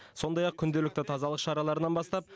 сондай ақ күнделікті тазалық шараларынан бастап